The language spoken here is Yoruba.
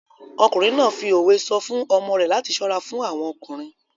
Ọkùnrin náà fi òwe sọ fún ọmọ rẹ̀ láti ṣọ́ra fún àwọn ọkùnrin.